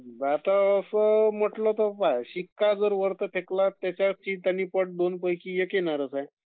आता असं मोठे लोकं पाह्ये Voice not clear